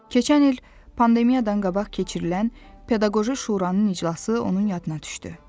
Keçən il pandemiyadan qabaq keçirilən pedaqoji şuranın iclası onun yadına düşdü.